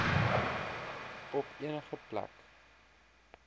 op enige plek